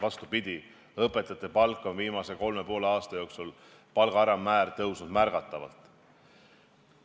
Vastupidi, õpetajate palga alammäär on viimase kolme ja poole aasta jooksul tõusnud märgatavalt.